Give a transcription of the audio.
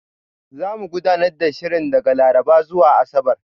Zamu gudanar da shirin daga Laraba zuwa Asabar.